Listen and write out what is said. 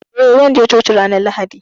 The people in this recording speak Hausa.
Eh, zan je coki ranar Lahadi.